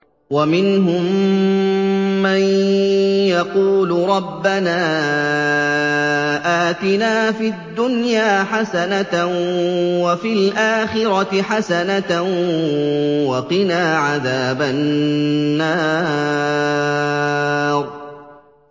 وَمِنْهُم مَّن يَقُولُ رَبَّنَا آتِنَا فِي الدُّنْيَا حَسَنَةً وَفِي الْآخِرَةِ حَسَنَةً وَقِنَا عَذَابَ النَّارِ